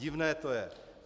Divné to je.